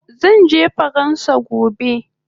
Zanje faransa gobe